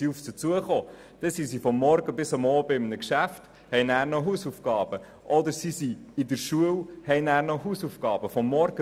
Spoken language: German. Auf einmal mussten sie von morgens bis abends im Betrieb arbeiten oder eine Mittelschule besuchen und am Abend noch Hausaufgaben erledigen.